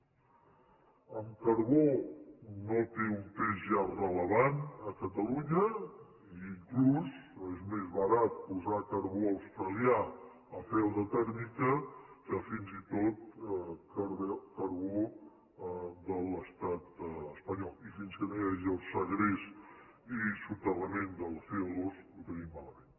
el carbó no té un pes ja rellevant a catalunya i inclús és més barat posar carbó australià a peu de tèrmica que fins i tot carbó de l’estat espanyol i fins que no hi hagi el segrest i soterrament del comalament